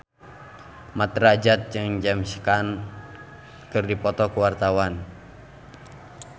Mat Drajat jeung James Caan keur dipoto ku wartawan